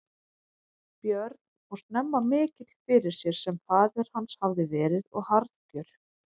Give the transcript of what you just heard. Björn og snemma mikill fyrir sér sem faðir hans hafði verið og harðgjör.